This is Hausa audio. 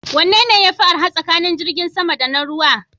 Wanne yafi arha tsakanin jirgin sama da na ruwa?